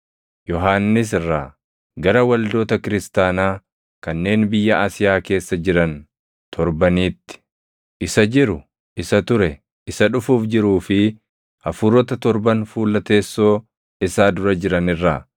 Yohannis irraa, Gara waldoota kiristaanaa kanneen biyya Asiyaa keessa jiran torbaniitti: Isa jiru, isa ture, Isa dhufuuf jiruu fi Hafuurota torban fuula teessoo isaa dura jiran irraa,